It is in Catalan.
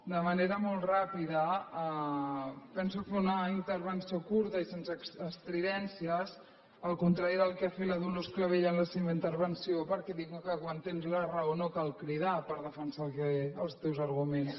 de manera molt ràpida penso fer una intervenció curta i sense estridències al contrari del que ha fet la dolors clavell en la seva intervenció perquè diuen que quan tens la raó no cal cridar per defensar els teus arguments